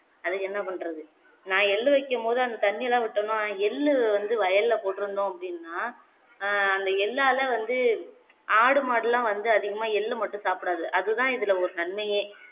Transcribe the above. அதுக்கு என்ன பண்ணுறது நா எள்ளு வைக்கும்போது அந்த தண்ணீயெல்லாம் விட்டோம்னா எள்ளு வந்து வயல்ல போட்டிருந்தோம் அப்படின்னா ஆஹ் அந்த எள்ளால வந்து ஆடு மாடுலாம் வந்து அதிகமா எள்ளு மட்டும் சாப்பிடாது அதுதான் இதுல ஒரு நன்மையே